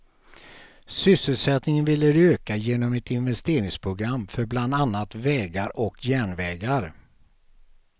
Sysselsättningen vill de öka genom ett investeringsprogram för bland annat vägar och järnvägar.